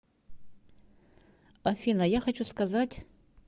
афина я хочу сказать